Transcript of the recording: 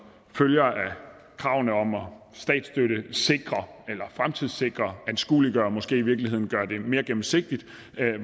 følger af kravene om at statsstøttesikre eller fremtidssikre anskueliggøre og måske i virkeligheden at gøre det mere gennemsigtigt